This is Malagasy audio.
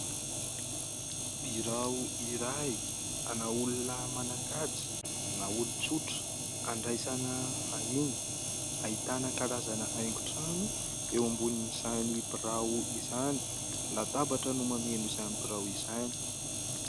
Birao iray, ana olona manan-kaja na olon-tsotra. Handraisana vahiny, ahitana karazana haingon-trano eo ambonin'izany birao izany. Latabatra no mameno izany birao izany.